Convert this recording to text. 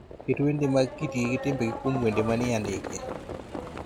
Ket wende mag kitgi gi timbegi kuom wende manie andike